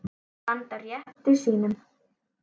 Standa á rétti sínum?